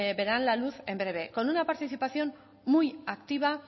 verán la luz en breve con una participación muy activa